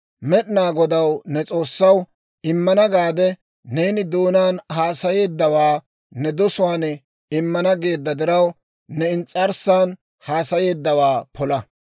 Med'inaa Godaw, ne S'oossaw, immana gaade neeni doonaan haasayeeddawaa ne dosuwaan immana geedda diraw, ne ins's'arssan haasayeeddawaa pola.